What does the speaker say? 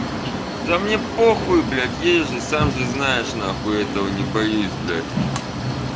да мне похую блять ей же сам же знаешь нахуй этого не боюсь блять